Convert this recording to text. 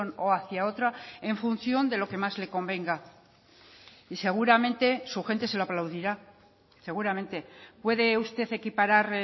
o hacia otra en función de lo que más le convenga y seguramente su gente se lo aplaudirá seguramente puede usted equiparar